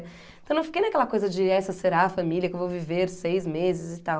Então eu não fiquei naquela coisa de essa será a família que eu vou viver seis meses e tal.